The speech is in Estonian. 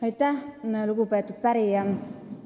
Aitäh, lugupeetud pärija!